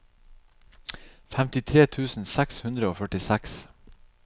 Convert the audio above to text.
femtitre tusen seks hundre og førtiseks